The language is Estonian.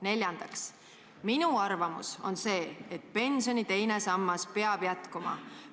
" Neljandaks: "Minu arvamus on see, et pensioni teine sammas peab jätkuma.